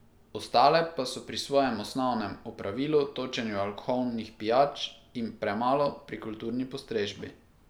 Ostale pa so pri svojem osnovnem opravilu, točenju alkoholnih pijač in premalo pri kulturni postrežbi.